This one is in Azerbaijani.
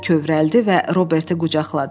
O kövrəldi və Robertu qucaqladı.